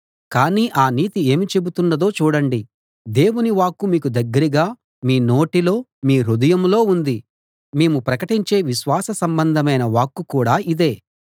కానీ ఆ నీతి ఏమి చెబుతున్నదో చూడండి దేవుని వాక్కు మీకు దగ్గరగా మీ నోటిలో మీ హృదయంలో ఉంది మేము ప్రకటించే విశ్వాస సంబంధమైన వాక్కు కూడా ఇదే